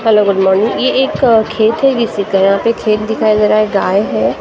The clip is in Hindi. हेलो गुड़ मारनी यह एक खेत है किसी के यहाँ पर खेत दिखाई दे रहा है गाय है ।